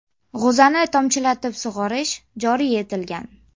G‘o‘zani tomchilatib sug‘orish joriy etilgan.